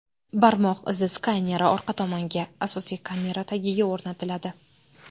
Barmoq izi skaneri orqa tomonga, asosiy kamera tagiga o‘rnatiladi.